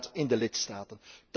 Inderdaad, in de lidstaten.